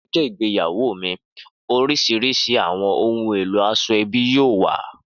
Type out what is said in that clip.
Ni ọjọ igbeyawo mi oriṣiriṣi awọn ohun elo asoebi yoo wa.